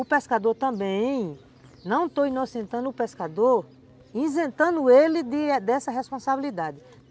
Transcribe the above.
O pescador também, não estou inocentando o pescador, isentando ele dessa responsabilidade.